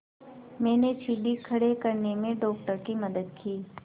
मैंने सीढ़ी खड़े करने में डॉक्टर की मदद की